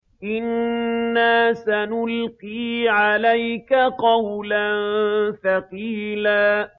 إِنَّا سَنُلْقِي عَلَيْكَ قَوْلًا ثَقِيلًا